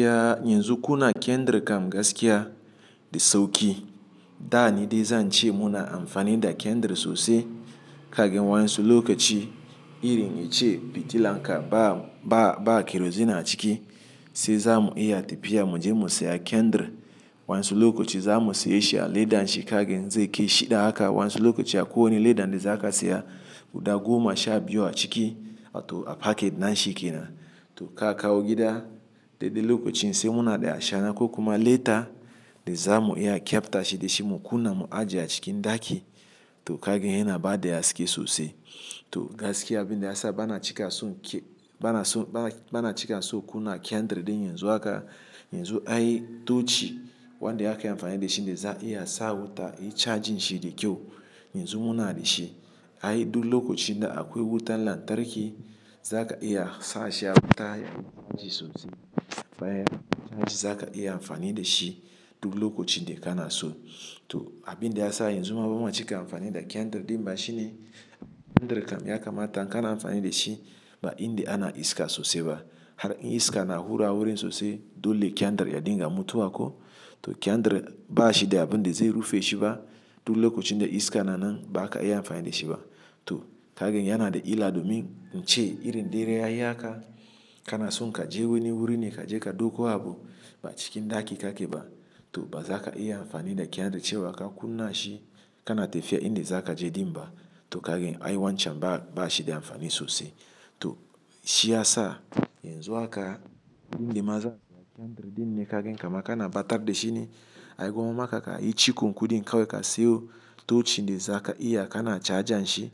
Yanzu kuna kendir kam gaskiya da sauki. Da ni dai zan ce muna amfani da kendir sosai. Kagin wa'insu lokaci irin yace fitilanka ba, ba, ba kerozin a ciki sai zamu iya tafiya muje mu saya kendir. Wa'insu lokaci zamu sayi shi a ledanshi kagan zai kai shi da haka. Wa'insu lokaci akwai wani ledan da za ka saya guda goma sha biyu a ciki, wato a packet nan shi kenan. To ka kawo gida, daidai lokacin sai muna da ashana ko kuma leta da zamu iya a kyafta shi da shi mu kunna mu ajiye a cikin ɗaki. To kagin yana ba da haske sosai. To gaskiya abin da ya sa bana cika son ke-- bana so-- bana, bana cika so kuna kendir ɗin yanzu haka, yanzu ai tocchi wanda aka yi amfani da shi dai za a iya sa wuta, yi charging shi da kyau yanzu muna da shi. Ai duk lokaci da akwai wutar lantarki, za ka iya sashi ya wuta ya yi charging sosai. Faya charging za ka iya amfani da shi duk lokacin da kana so. To abin da ya sa yanzu ma bamacika amfani da kendir ɗin ma shine kendir kam ya kamata kana amfani da shi ba inda ana iska sosai ba. Har in iska na hura wurin sosai dole kendir ya dinga mutuwa ko. To kendir ba shi da abin da zai rufe shi ba. Duk lokacin da iska na nan ba kazaka iya amfani da shi ba. To kagan yana da illa domin ince irin dare ya yi haka kana son ka je wani wurin ne ka je ka ɗauko abu ba cikin ɗaki kake ba. To ba za ka iya amfani da kendir cewa ka kunna shi kana tafiya inda za ka je ɗin ba. To kagin ai wancan ba, ba shi da amfani sosai. To shi ya sa yanzu haka inda ma zakayi amfani da kendir ɗin ne kagan kamar kana ɓatar da shi ne. Ai gwamma ma ka ka yi cikon kuɗin kawai ka siyo tocchi dai za ka iya kana charging shi.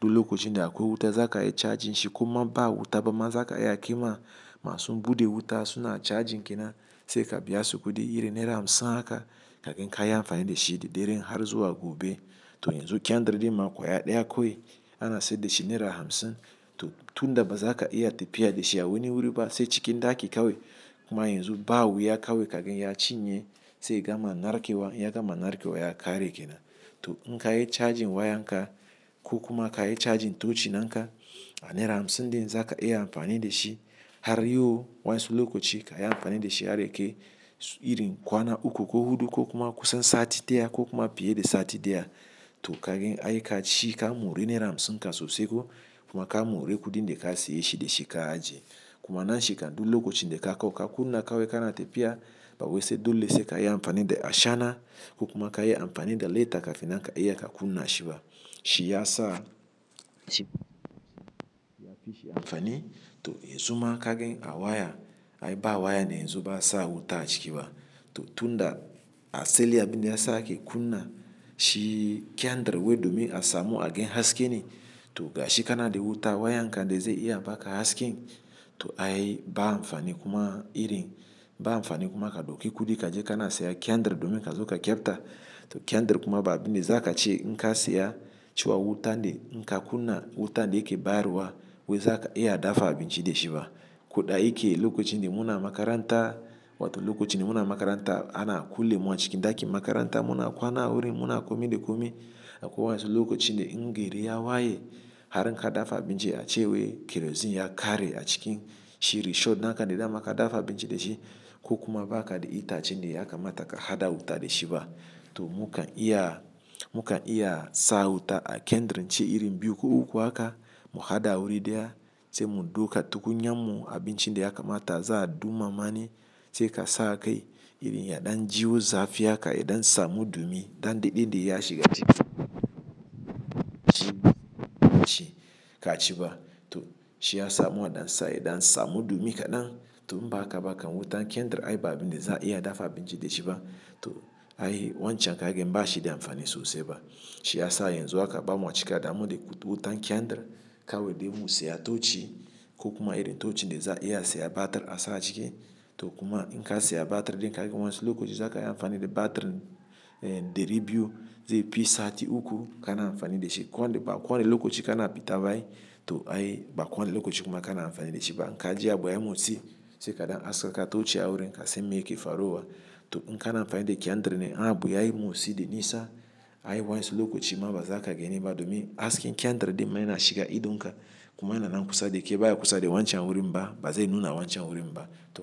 Duk lokacin da akwai wuta za ka iya charging shi ko ma ba wuta ba ma za ka iya kunna ma sun buɗe wuta suna charging kenan sai ka biya su kuɗi iri naira hamsin haka kafin ka yi amfani da shi da dare har zuwa gobe. To yanzu kendir din ma ƙwaya ɗaya kawai ana saida shi naira hamsin. To tun da ba za ka iya tafiya da shi a wani wuri ba sai cikin ɗaki kawai. Kuma yanzu ba wuya kawai kaga ya cinye sai gama narke wa, ya gama narke wa ya ƙare kenan. To in ka yi charging wayanka ko kuma ka yi charging tocchi ɗinka a naira hamsin ɗin za ka iya amfani da shi har yau wasu lokaci ka yi amfani da shi har yake irin kwana uku ko hudu ko kuma kusan sati ɗaya ko kuma fiye da sati ɗaya. To kagan ai ka ci ka mori naira hamsin ka sosai ko kuma ka mori kuɗin da ka saye shi da shi ka ajiye. Kuma nan shi kafin lokacin da kai ka kunna kawai kana tafiya. Ba wai dole sai ka yi amfani da ashana ko kuma ka yi amfani da leta kafin nan ka iya ka kunna shi ba. Shi ya sa yafi shi amfani. To yanzu ma kagin a waya ai ba waya ne yanzu ba sa wuta a ciki ba. To tun da asali abin da ya sake kunna shi kendir wai domin a samu a gan haske ne. To gashi kana da wuta wayanka dai zai iya baka haske. To ai ba amfani kuma irin ba amfani kuma ka ɗauki kuɗi ka je kana saya kendir domin ka zo ka kyafta. To kendir kuma ba abin da za ka ci inka saya. Cewa wuta dai inka kunna wuta dai ke bayarwa wai za ka iya dafa abinci dai shi ba. Koda yake lokacin da muna makaranta, wato lokacin da muna makaranta ana kulle mu a cikin ɗakin makaranta. Muna kwana wurin muna komi da komi. Akwai wansu lokacin da in gari ya waye harka dafa abinci a ce waikerozin ya ƙare a cikin shi. Risho naka dai dama ka dafa abinci da shi ko kuma ba ka da ita ace ne ya kamata ka haɗa wuta dai shi ba. To mukan iya, mukan iya sa wuta a kendrin ce irin biyu ko uku haka mu haɗa wuri da ya sai mu dauka tukunya mu abincin da ya kamata za a duma mani sai ka saka kai. Irin yaɗan jiwo zafi haka yaɗan samu ɗumi, ɗan daɗe dai ya shiga ciki ka ci ba. To shi ya sa muna ɗansa yaɗan samu dumi kaɗan. To ba haka ba kan wutan kendir ai ba abin da za a iya dafa abinci dai shi ba. To ai wancan kagin ba shi da amfani sosai ba. Shi ya sa yanzu haka bamaci ka damu da wutan kendir kawai dai mu saya tocchi ko kuma irin tocchi dai za a iya saya batir a sa ciki. To kuma in ka saya batir ɗnka gidan wansu lokaci za ka yi amfani da batir ɗari biyu zai fi sati uku kana amfani da shi. Kowa ba kowane da lokaci kana fita ba ai. To ai ba kowane da lokaci kuma kana amfani da shi ba. In kaji abu ya yi motsi sai kaɗan haske ka tocchi a wurin ka san meyake faruwa. To in kana amfani da kendir ne abu ya yi motsi dai nisa ai wansu lokaci ma ba za ka gani ba domin haske kendir dai man ya shiga idonka. Kuma yana nan kusa da ke baya kusa da wancan wurin ba, ba zai nuna wancan wurin ba. To.